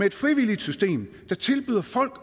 et frivilligt system der tilbyder folk